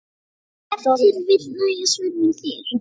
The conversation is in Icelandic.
Ef til vill nægja svör mín þér.